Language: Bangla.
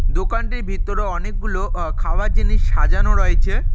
দোকানটির ভিতরে অনেকগুলো অ খাওয়ার জিনিস সাজানো রয়েছে।